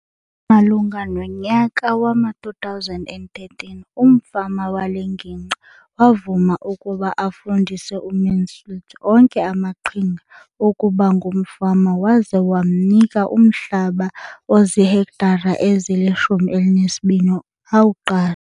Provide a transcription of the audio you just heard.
Malunga nonyaka wama-2013, umfama wale ngingqi wavuma ukuba afundise uMansfield onke amaqhinga okuba ngumfama waze wamnika umhlaba ozihektare ezili-12 ukuba awuqashe.